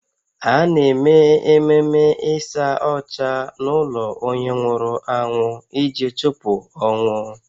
A na-eme ememe ịsa ọcha n’ụlọ onye nwụrụ anwụ iji chụpụ ọnwụ